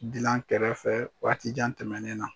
Dilan kɛrɛfɛ waati jan tɛmɛnen na.